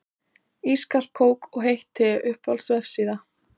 Ískalt kók og heitt te Uppáhalds vefsíða?